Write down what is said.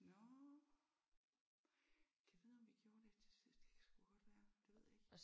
Nåh gad vide om vi gjorde det til sidst? Det kan sgu godt være. Det ved jeg ikke